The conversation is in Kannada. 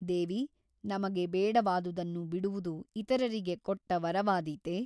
ದೇವಿ ನಮಗೆ ಬೇಡವಾದುದನ್ನು ಬಿಡುವುದು ಇತರರಿಗೆ ಕೊಟ್ಟ ವರವಾದೀತೆ ?